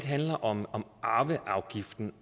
handler om arveafgiften